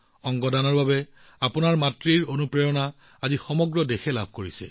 অংগ দানৰ অনুপ্ৰেৰণা আজি আপোনাৰ মাতৃৰ জৰিয়তে সমগ্ৰ দেশত উপস্থিত হৈছে